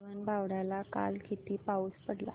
गगनबावड्याला काल किती पाऊस पडला